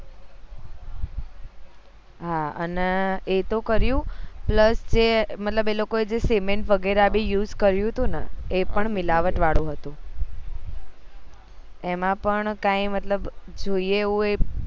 હાઅને એ તો કર્યું plus જે મતલબ એ લોકો એ જે cement વગેર ભી use કર્યું હતું ન એ પણ મીલાવટ વાળું હતું એમાં પણ કઈ મતલબ જોઈએ એવું